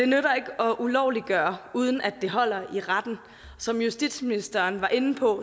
nytter at ulovliggøre uden at det holder i retten som justitsministeren var inde på